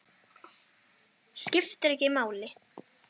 Skiptir ekki máli!